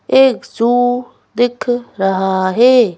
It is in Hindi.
एक ज़ू दिख रहा है।